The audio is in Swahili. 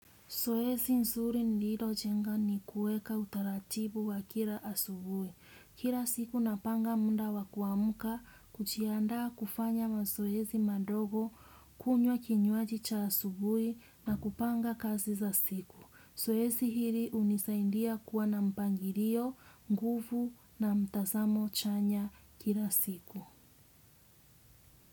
Zoezi nzuri nililojenga ni kuweka utaratibu wa kila asubuhi. Kila siku napanga muda wa kuamka kujianda kufanya mazoezi madogo kunywa kinywaji cha asubuhi na kupanga kazi za siku. Zoezi hili hunisaindia kuwa na mpangilio, nguvu na mtazamo chanya kila siku.